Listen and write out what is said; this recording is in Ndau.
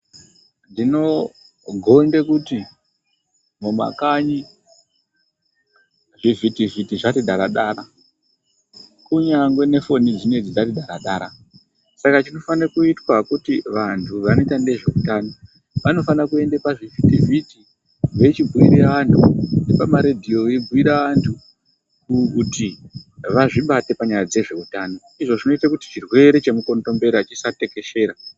Ndinogonde kuti mumakanyi zvivhitivhiti zvati daradara. Kunyangwe nefoni dzinedzi dzati dara-dara. Saka chinofane kuitwa kuti vantu vanoita nezveutano, vanofane kuenda pazvivhiti-vhiti veyi chibhuyira vantu nepamaredjiyo vechibhuyira vantu kuti vazvibate panyaya dzezveutano. Izvo zvinoita kuti chirwere chemukondombera chisatekeshera.